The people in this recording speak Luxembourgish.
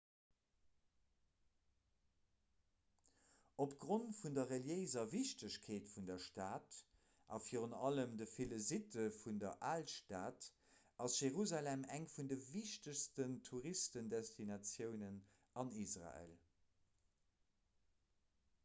opgrond vun der reliéiser wichtegkeet vun der stad a virun allem de ville sitte vun der alstad ass jerusalem eng vun de wichtegsten touristendestinatiounen an israel